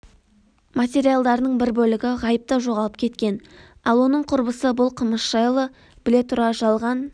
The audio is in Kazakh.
материалдарының бір бөлігі ғайыпта жоғалып кеткен ал оның құрбысы бұл қылмыс жайлы біле тұра жалған